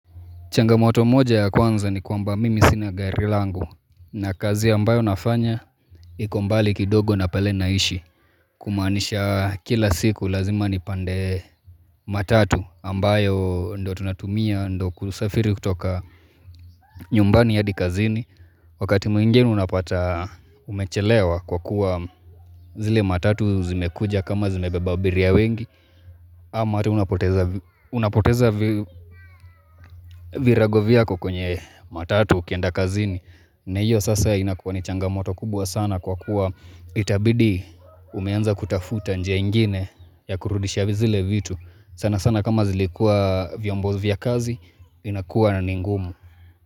Changamoto moja ya kwanza ni kwamba mimi sina gari langu na kazi ambayo nafanya ikombali kidogo na pale naishi kumaanisha kila siku lazima nipande matatu ambayo ndo tunatumia ndo kusafiri kutoka nyumbani ya hadi kazini wakati mwingeni unapata umechelewa kwa kuwa zile matatu zimekuja kama zimebeba biria wengi Amati unapoteza virago vyako kwenye matatu ukienda kazini na hiyo sasa inakuwa ni changamoto kubwa sana kwa kuwa Itabidi umeanza kutafuta njia ingine ya kurudisha zile vitu sana sana kama zilikua vyombozi vya kazi inakuwa na ningumu.